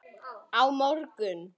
Á morgun